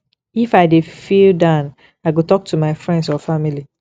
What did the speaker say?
if i dey feel down i go talk to my friends or family